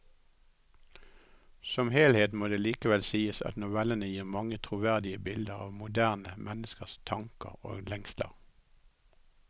Som helhet må det likevel sies at novellene gir mange troverdige bilder av moderne menneskers tanker og lengsler.